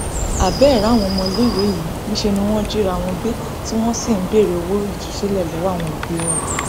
abẹẹ ráwọn ọmọléèwé yìí níṣẹ ni wọn jìra wọn gbé tí wọn sì ń béèrè owó ìtúsílẹ lọwọ òbí wọn